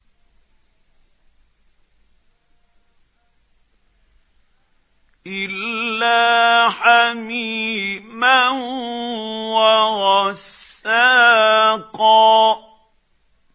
إِلَّا حَمِيمًا وَغَسَّاقًا